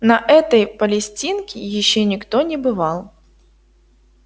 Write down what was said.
на этой палестинке ещё никто не бывал